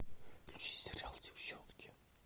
включи сериал деффчонки